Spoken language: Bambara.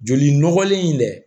Joli nɔgɔlen in dɛ